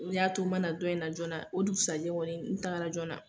O de y'a to ma na dɔn in na jɔɔna. O dugusajɛ kɔni n tagara jɔɔna.